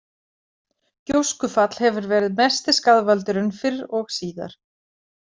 Gjóskufall hefur verið mesti skaðvaldurinn fyrr og síðar.